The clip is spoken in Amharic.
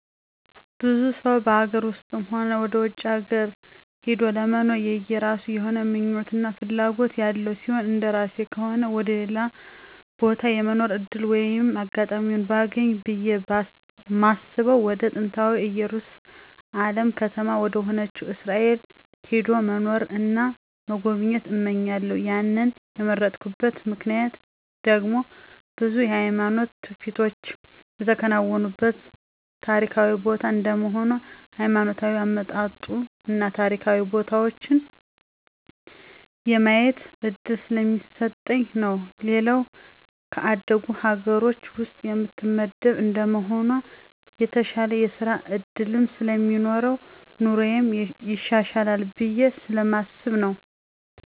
ብዙ ሰው በሀገር ውስጥም ሆነ ወደ ውጭ ሀገር ሂዶ ለመኖር የየራሱ የሆነ ምኞት እና ፍላጎት ያለው ሲሆን እንደራሴ ከሆነ ወደ ሌላ ቦታ የመኖር ዕድል ወይም አጋጣሚውን ባገኝ ብየ ማስበው ወደ ጥንታዊታ እየሩሳሌም ከተማ ወደሆነችው እስራኤል ሄዶ መኖርን እና መጎብኘት እመኛለሁ ያንን የመረጥኩበት ምክንያት ደግሞ ብዙ የሃይማኖት ትውፊቶች የተከናወኑበት ታሪካዊ ቦታ እንደመሆኑ ሀይማኖታዊ አመጣጡን እና ታሪካዊ ቦታዎችን የማየት እድል ስለሚሰጠኝ ነው። ሌላው ከአደጉ ሀገር ውስጥ የምትመደብ እንደመሆኗ የተሻለ የስራ ዕድልም ስለሚኖረኝ ኑሮየም ይሻሻላል ብየ ስለማስብ ነው።